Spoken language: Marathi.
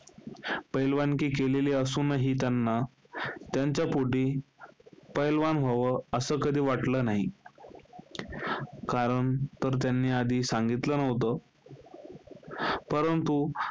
पहिलवानकी केलेली असूनही, त्यांना त्यांच्या पोटी पहिलवान व्हावं, असं कधी वाटलं नाही. कारण, तर त्यांनी आधी सांगतलं नव्हतं. परंतु,